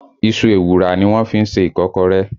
Iṣu ewùrà ni wọ́n fí ń ṣe Ìkọ́kọrẹ́